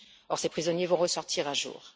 Or, ces prisonniers vont ressortir un jour.